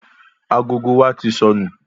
Agogo wa tí sọnù